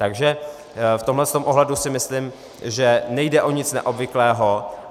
Takže v tomhle ohledu si myslím, že nejde o nic neobvyklého.